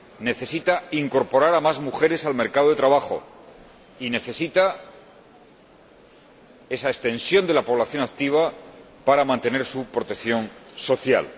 necesita incorporar a más mujeres al mercado de trabajo y necesita esa extensión de la población activa para mantener su protección social.